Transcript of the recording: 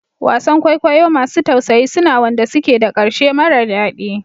Wasan kwaikwayo masu tausayi suna wanda suke da ƙarshe mara daɗi